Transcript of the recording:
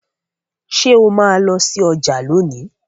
Ṣe o ma lọ sí ọjà lóni?